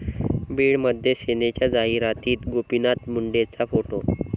बीडमध्ये सेनेच्या जाहिरातीत गोपीनाथ मुंडेंचा फोटो